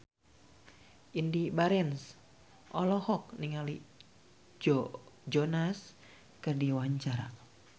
Indy Barens olohok ningali Joe Jonas keur diwawancara